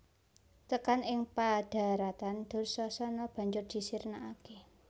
Tekan ing padharatan Dursasana banjur disirnakake